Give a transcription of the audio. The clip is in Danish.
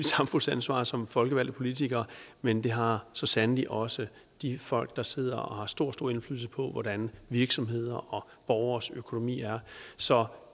samfundsansvar som folkevalgte politikere men det har så sandelig også de folk der sidder og har stor stor indflydelse på hvordan virksomheders og borgeres økonomi er så